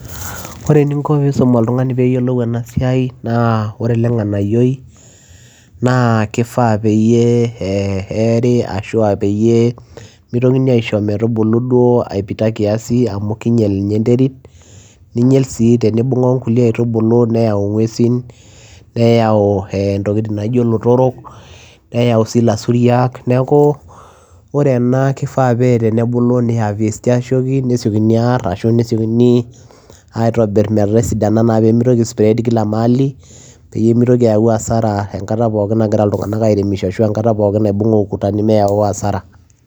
Oree eninko peyiee isum oltunganii peyiee eyilou ena siai naa oree ele nganayio na kifaa peyiee eerie mitokini iishoo metubulu aipita kiasi amuu kinyel ninye enderit tenibunga oonkulie aaitubulu naa keyau inguesin naijo olotorok ilasuriak tenebulu neeri aasioki eeri metisidana peyiee mitokii ai spread kila mahali angata pookin naagira airemishoo